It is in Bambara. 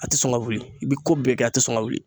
A tɛ sɔn ka wuli i bɛ ko bɛɛ kɛ a tɛ sɔn ka wuli